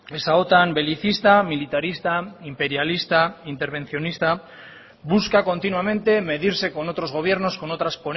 esa otan belicista militarista imperialista intervencionista busca continuamente medirse con otros gobiernos con otras